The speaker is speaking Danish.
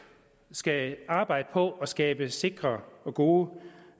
skal arbejde på at skabe sikre og gode